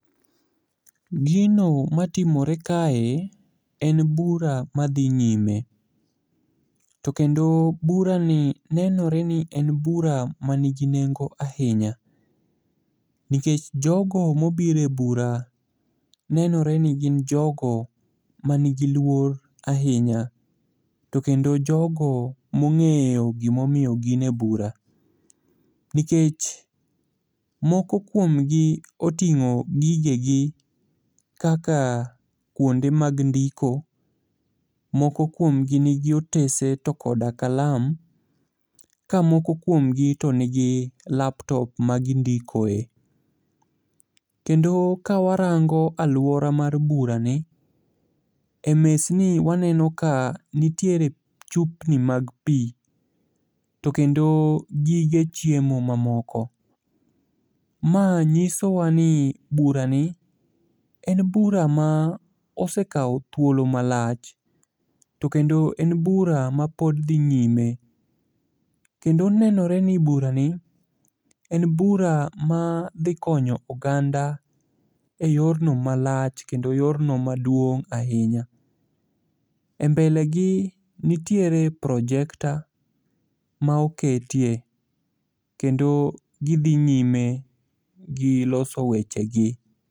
Gino matimore kae en bura madhi nyime, to kendo burani nenore ni en bura manigi nengo ahinya nikech jogo mobiro e bura nenore ni gin jogo manigi luor ahinya, to kendo jogo mong'eyo gimomiyo gin e bura, nikech moko kuomgi oting'o gigegi kaka kwonde mag ndiko, moko kuomgi nigi otese to koda kalam ka moko kuomgi to nigi laptop ma gindikoe. Kendo kawarango alwora mar burani,e mesni waneno ka nitiere chupni mag pi, to kendo gige chiemo mamoko. Ma nyisowa ni burani en bura ma osekawo thuolo malach, to kendo en bura mapod dhi nyime. Kendo onenore ni burani en bura madhi konyo oganda e yorno malach kendo yorno maduong' ahinya. E mbele gi nitiere projector ma oketie, kendo gidhi nyime gi loso weche gi.